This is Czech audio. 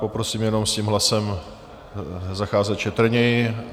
Poprosím jenom s tím hlasem zacházet šetrněji.